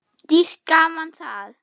Dýrt gaman það.